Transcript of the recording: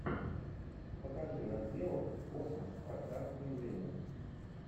покажи нат гео космос пространство и время